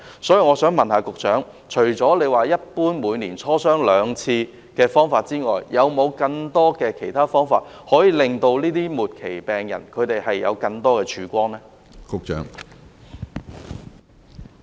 所以，我想問局長，除了每年就自費藥物磋商兩次的方法外，還有沒有更多方法，為這些末期癌症病人帶來更大的曙光呢？